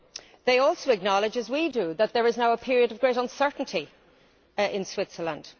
It also acknowledges, as we do, that there is now a period of great uncertainty in Switzerland.